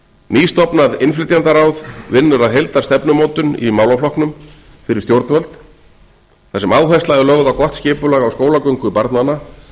nýstofnað innflytjendaráð vinnur að heildarstefnumótun í málaflokknum fyrir stjórnvöld þar sem áhersla er lögð á gott skipulag á skólagöngu barnanna